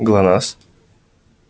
глонассс